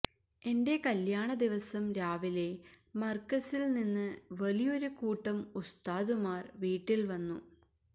എന്റെ കല്യാണ ദിവസം രാവിലെ മർകസിൽ നിന്ന് വലിയൊരു കൂട്ടം ഉസ്താദുമാർ വീട്ടിൽ വന്നു